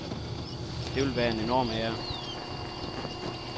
Det ville være en enorm ære.